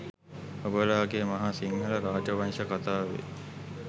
ඔබලාගේ මහා සිංහල රාජ වංශ කතාවේ